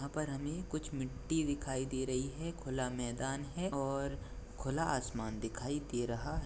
यहाँ पर हमे कुछ मिट्टी दिखाई दे रही हैं खुला मैदान है और खुला आसमान दिखाई दे रहा है।